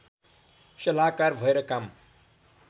सल्लाहकार भएर काम